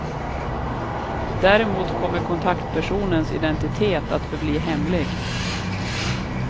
Däremot kommer kontaktpersonens identitet att förbli hemlig.